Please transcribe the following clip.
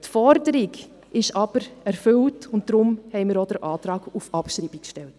Die Forderung ist aber erfüllt, und deshalb haben wir auch den Antrag auf Abschreibung gestellt.